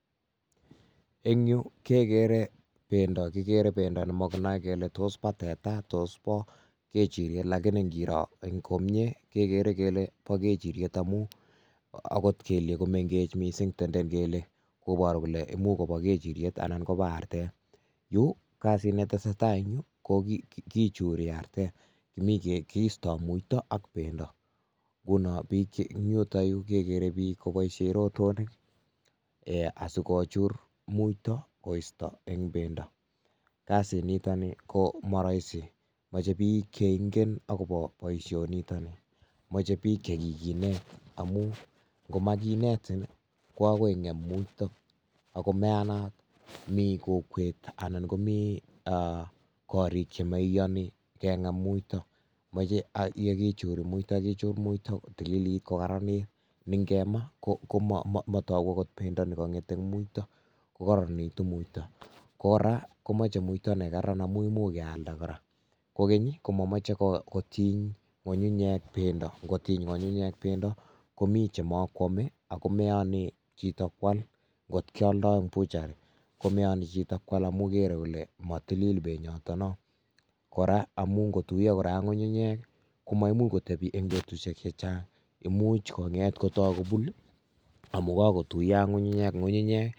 En yuh kegere bendoo. Kigeere bendo nemokinoe kele tos bo teta, tos boo kechiriet lakini ingiroo komie kegeere Kele boo kechiriet amun akot keliek komengech missing, tendeen missing, kobooru kole imuch koboo kechiriet anan kobo arteet. Yu kasit netesetai ko kichurii arteet, mi keistoo muito ak bendoo.,ngunon en yuton yuu kegere biik koboishien rotonik asikochuur muito koistoo en bendoo. Kasini nitok nii komoroisi moche book cheingen akobo boishoniitok, moche biik chekikineet ,ngomakinetin ko akoi ingeem muito, ako mayaanat. Mi kokwet anan komii gorik chemoiyooni kengeem muito. Moche yekichuur muito kichur muito kotililit kokararanit ak kotililit, nengemaa komotoogu okot bendoo nekongeet, kokaroronitu muito. Kora komoche muito nekararan amun much kealdaa kora moment komomoche kotiny ngungunyek bendoo amun mokwome bik ak moiyonii chito koala kot ngioldoi en buchari komoioni chito Kual amun keere kole motilil benyotok noo, kora amun ingotuiyoo ak ngungunyek I komaimuch kotebii en betusiek chechang much konget kotok kobuun amun kakotuiyo ak ngungunyek